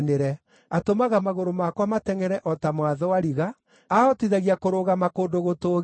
Atũmaga magũrũ makwa matengʼere o ta ma thwariga; aahotithagia kũrũgama kũndũ gũtũũgĩru.